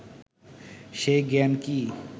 সেই জ্ঞান কি